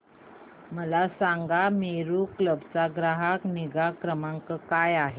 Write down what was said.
मला सांगा मेरू कॅब चा ग्राहक निगा क्रमांक काय आहे